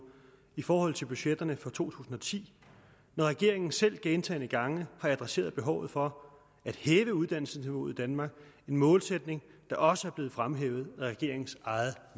i forhold til budgetterne for to tusind og ti når regeringen selv gentagne gange har adresseret behovet for at hæve uddannelsesniveauet i danmark en målsætning der også er blevet fremhævet af regeringens eget